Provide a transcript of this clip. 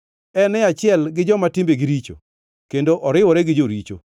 En e achiel gi joma timbegi richo; kendo oriwore gi joricho.